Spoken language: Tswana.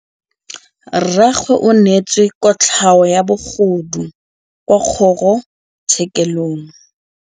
Rragwe o neetswe kotlhaô ya bogodu kwa kgoro tshêkêlông.